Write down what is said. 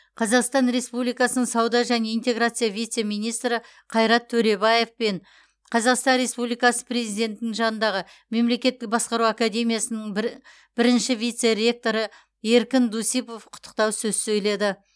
қазақстан республикасының сауда және интеграция вице министрі қайрат төребаев пен қазақстан республикасы президентінің жанындағы мемлекеттік басқару академиясының бірінші вице ректоры еркін дусипов құттықтау сөз сөйледі